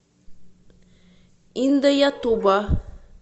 индаятуба